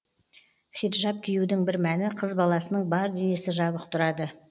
хиджаб киюдің бір мәні қыз баласының бар денесі жабық тұрады